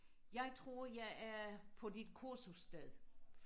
jeg tror jeg er på dit kursus sted